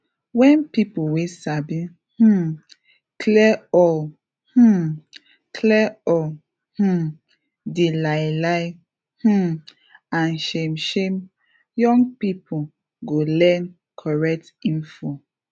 wen peolpe wey sabi um clear all um clear all um di lie lie um and shame shame young people go learn correct info